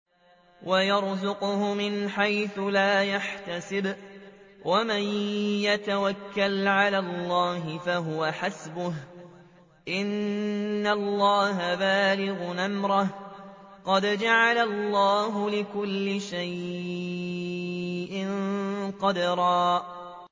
وَيَرْزُقْهُ مِنْ حَيْثُ لَا يَحْتَسِبُ ۚ وَمَن يَتَوَكَّلْ عَلَى اللَّهِ فَهُوَ حَسْبُهُ ۚ إِنَّ اللَّهَ بَالِغُ أَمْرِهِ ۚ قَدْ جَعَلَ اللَّهُ لِكُلِّ شَيْءٍ قَدْرًا